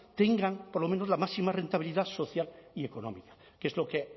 tengan por lo menos la máxima rentabilidad social y económica que es lo que